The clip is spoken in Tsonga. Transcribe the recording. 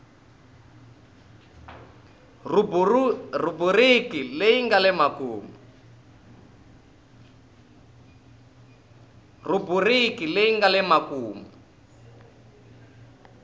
rhubiriki leyi nga le makumu